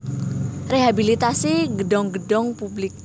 Rehabilitasi gedhong gedhong publik